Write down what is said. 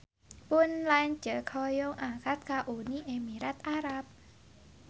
Pun lanceuk hoyong angkat ka Uni Emirat Arab